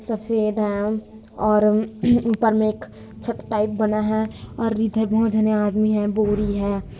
सफेद हैंऔर ऊपर मे एक छत टाइप बना हैं और इधर बहोत झने आदमी है बोरी है।